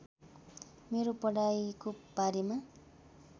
मेरो पढाइको बारेमा